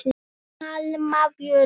Alma Björk.